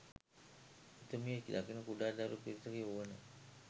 එතුමිය දකින කුඩා දරු පිරිසගේ වුවන